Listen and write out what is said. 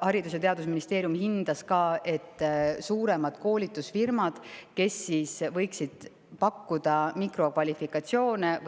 Haridus- ja Teadusministeerium hindas ka, et suurematel koolitusfirmadel, kes võiksid pakkuda mikrokvalifikatsiooni ja